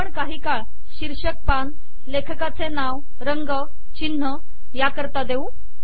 आपण काही काळ शीर्षक पान लेखकाचे नाव रंग चिन्ह या करिता देऊ